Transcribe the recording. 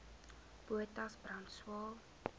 potas brand swael